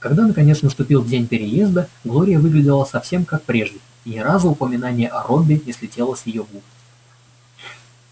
когда наконец наступил день переезда глория выглядела совсем как прежде и ни разу упоминание о робби не слетело с её губ